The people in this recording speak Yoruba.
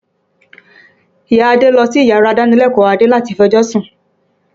Ìya Adé ń lọ síyàrá ìdánilẹ́kọ̀ọ́ Adé láti fẹjọ́sún